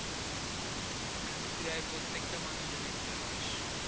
পেরায় প্রত্যেকটা মানুষের একটা রয়স্য।